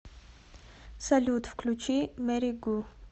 салют включи мэри гу